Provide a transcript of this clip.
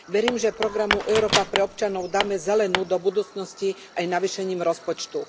Verím, že Programu Európa pre občanov dáme zelenú do budúcnosti aj navýšením rozpočtu.